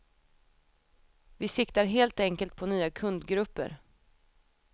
Vi siktar helt enkelt på nya kundgrupper.